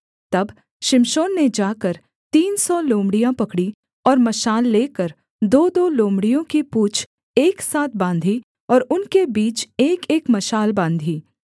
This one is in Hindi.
तब शिमशोन ने जाकर तीन सौ लोमड़ियाँ पकड़ीं और मशाल लेकर दोदो लोमड़ियों की पूँछ एक साथ बाँधी और उनके बीच एकएक मशाल बाँधी